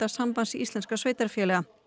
Sambands íslenskra sveitarfélaga